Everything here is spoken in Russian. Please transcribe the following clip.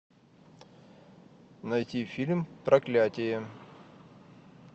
найти фильм проклятие